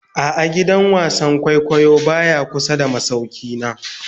A'a, gidan wasan kwaikwayo baya kusa da masaukina